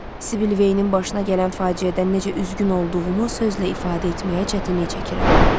Sibil Veinin başına gələn faciədən necə üzgün olduğumu sözlə ifadə etməyə çətinlik çəkirəm.